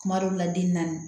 Kuma dɔw la den na